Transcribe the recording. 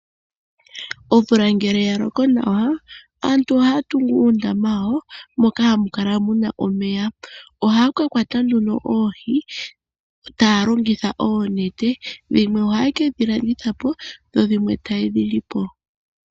Omvula ngele ya loko nawa, aantu ohaya tungu uundama wawo moka hamu kala mu na omeya. Ohaya ka kwata nduno oohi taya longitha oonete. Dhimwe ohaye ke dhi landitha po dho dhimwe taye dhi li po.